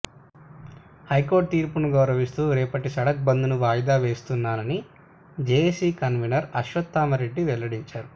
high court తీర్పును గౌరవిస్తూ రేపటి సడక్ బంద్ను వాయిదా వేస్తున్నామని జేఏసీ కన్వీనర్ అశ్వత్థామరెడ్డి వెల్లడించారు